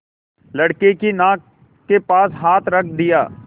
लड़के की नाक के पास हाथ रख दिया